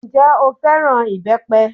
Ǹjẹ́ o fẹ́ràn ìbẹ́pẹ?